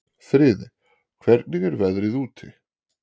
Friðey, hvernig er veðrið úti?